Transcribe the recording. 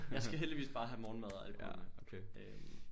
Jeg skal heldigvis bare have morgenmad og alkohol med øh